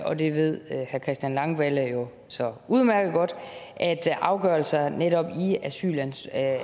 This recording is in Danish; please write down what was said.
og det ved herre christian langballe jo så udmærket godt at afgørelser i netop asylsager